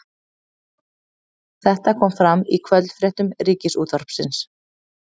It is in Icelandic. Þetta kom fram í kvöldfréttum Ríkisútvarpsins